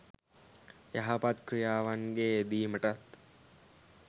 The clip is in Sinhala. යහපත් ක්‍රියාවන්ගේ යෙදීමටත්